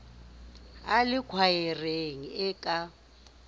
a le khwaereng e ka